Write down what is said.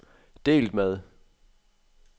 delt med